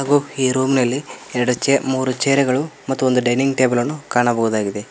ಹಾಗೂ ಈ ರೂಮ್ನ ಲ್ಲಿ ಎರಡು ಚೇ ಮೂರು ಚೇರ್ ಗಳು ಮತ್ತೊಂದು ಡೈನಿಂಗ್ ಟೇಬಲ್ ಅನ್ನು ಕಾಣಬಹುದಾಗಿದೆ.